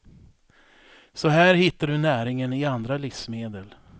Så här hittar du näringen i andra livsmedel.